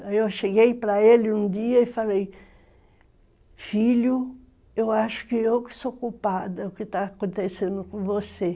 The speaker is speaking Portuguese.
Aí eu cheguei para ele um dia e falei, filho, eu acho que eu que sou culpada, o que está acontecendo com você.